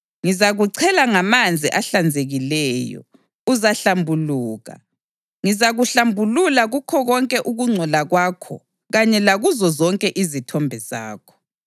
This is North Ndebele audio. Ngizakuchela ngamanzi ahlanzekileyo, uzahlambuluka; ngizakuhlambulula kukho konke ukungcola kwakho kanye lakuzo zonke izithombe zakho.